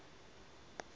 mean annual rainfall